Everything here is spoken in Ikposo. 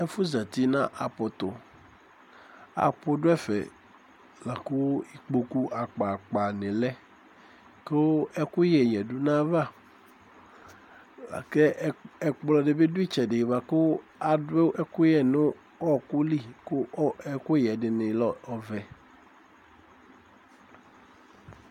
Ɛfu zɛti na apu tu apu du ɛfɛ laku ikpokpu akpakpa di lɛ ku ɛku yɛ yɛ du nu ayava kɛ ɛkplɔ di bi du itsɛdi boa ku adu ɛkuyɛ nu ɔku li ku ɛkuyɛ ɛdini lɛ ɔvɛ